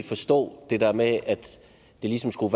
forstå det der med at det ligesom skulle